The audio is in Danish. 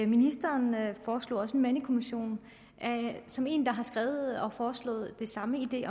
ministeren foreslog også en mandekommission som en der har skrevet om foreslået det samme nemlig